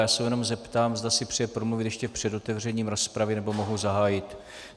Já se jenom zeptám, zda si přeje promluvit ještě před otevřením rozpravy, nebo mohu zahájit?